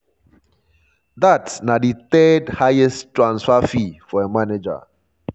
dat na di third-highest transfer fee for a manager.